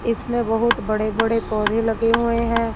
इसमें बहुत बड़े बड़े पौधे लगे हुए हैं।